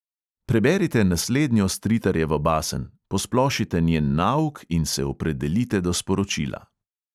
Preberite naslednjo stritarjevo basen, posplošite njen nauk in se opredelite do sporočila.